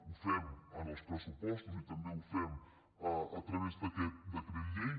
ho fem en els pressupostos i també ho fem a través d’aquest de·cret llei